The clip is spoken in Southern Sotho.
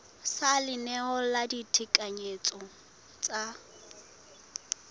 sa leano la ditekanyetso tsa